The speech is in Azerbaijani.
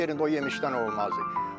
Heç yerində o yemişdən olmazdı.